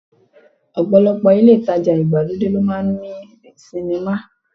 Ọ̀pọ̀lọpọ̀ ilé ìtajà ìgbàlódé ló máa ń ní sinimá